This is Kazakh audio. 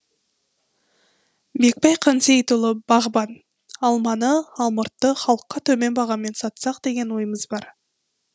бекбай қансейітұлы бағбан алманы алмұртты халыққа төмен бағамен сатсақ деген ойымыз бар